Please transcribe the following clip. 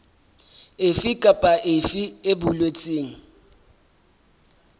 efe kapa efe e boletsweng